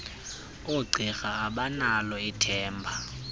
oogqirha abanalo ithemba